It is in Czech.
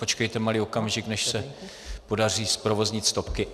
Počkejte malý okamžik, než se podaří zprovoznit stopky.